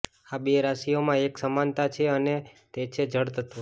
આ બે રાશિઓમાં એક સમાનતા છે અને તે છે જળ તત્વ